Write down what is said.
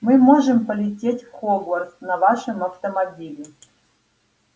мы можем полететь в хогвартс на нашем автомобиле